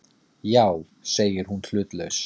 Já, segir hún hlutlaus.